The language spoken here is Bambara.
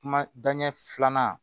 Kuma da ɲɛ filanan